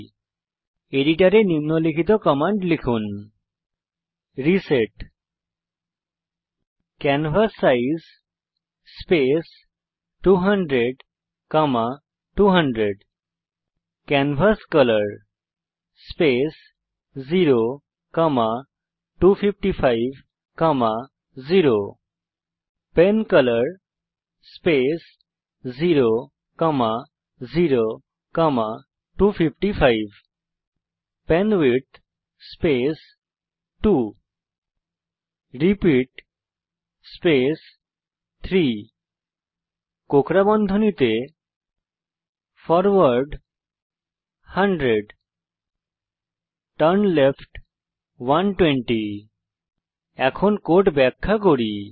আপনার এডিটারে নিম্নলিখিত কমান্ড লিখুন reset canvas size space 200200 canvas colour space 02550 pen colour space 00255 pen width space 2 repeat space 3 কোঁকড়া র্বন্ধনীতে ফরওয়ার্ড 100 টার্নলেফট 120 আমি এখন কোড ব্যাখ্যা করি